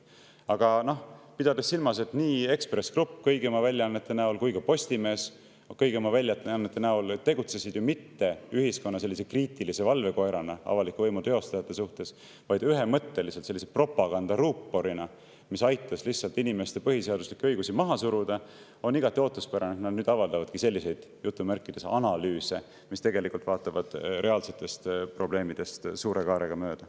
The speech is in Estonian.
Aga pidades silmas, et nii Ekspress Grupp kõigi oma väljaannetega kui ka Postimees kõigi oma väljaannetega tegutsesid ju mitte ühiskonna kriitilise valvekoerana avaliku võimu teostajate suhtes, vaid ühemõtteliselt propagandaruuporina, mis aitas lihtsalt inimeste põhiseaduslikke õigusi maha suruda, on igati ootuspärane, et nüüd avaldavad nad selliseid "analüüse", mis tegelikult vaatavad reaalsetest probleemidest suure kaarega mööda.